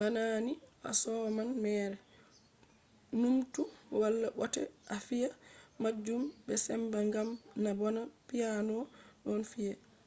bana ni a soman mere. numtu wala bote a fiya majun be sembe ngam na bana piano ɗon fi'e